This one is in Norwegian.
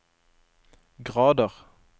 grader